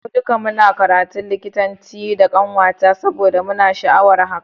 Mu duka muna karatun likitanci da kanwata saboda muna da sha'awar hakan.